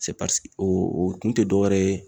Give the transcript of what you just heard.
o o kun tɛ dɔwɛrɛ ye